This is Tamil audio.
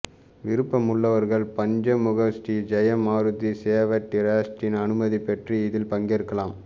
விருப்பமுள்ளவர்கள் பஞ்சமுக ஸ்ரீ ஜெயமாருதி சேவா டிரஸ்டின் அனுமதி பெற்று இதில் பங்கேற்கலாம்